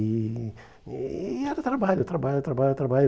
E e era trabalho, trabalho, trabalho, trabalho.